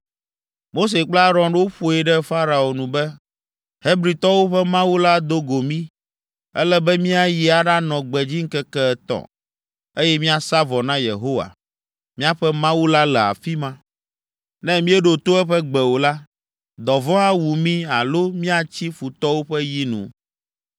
Mose kple Aron woƒoe ɖe Farao nu be, “Hebritɔwo ƒe Mawu la do go mí, ele be míayi aɖanɔ gbedzi ŋkeke etɔ̃, eye míasa vɔ na Yehowa, míaƒe Mawu la le afi ma. Ne míeɖo to eƒe gbe o la, dɔvɔ̃ awu mí alo míatsi futɔwo ƒe yi nu.”